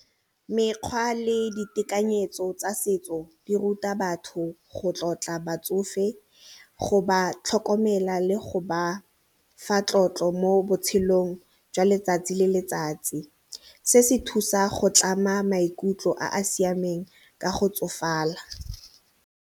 Mekgwa le ditekanyetso tsa setso di ruta batho go tlotla batsofe, go ba tlhokomela le go ba fa tlotlo mo botshelong jwa letsatsi le letsatsi se se thusa go tlama maikutlo a a siameng ka go tsofala.